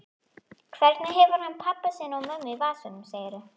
Hvernig hefur hann pabba sinn og mömmu í vasanum, segirðu?